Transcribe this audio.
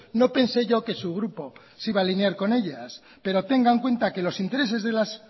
no pensé yo que su grupo se iba a alinear con ellas pero tenga en cuenta que los intereses de las